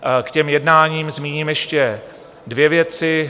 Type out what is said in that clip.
K těm jednáním zmíním ještě dvě věci.